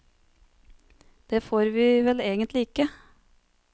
Det får vi vel egentlig ikke.